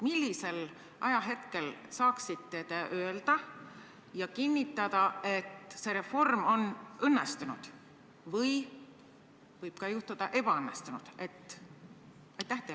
Millisel ajahetkel te saaksite öelda ja kinnitada, et see reform on õnnestunud või võib ka juhtuda, et ebaõnnestunud?